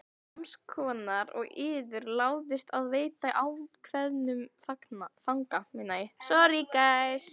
Sams konar og yður láðist að veita ákveðnum fanga.